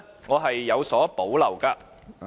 我是有所保留的。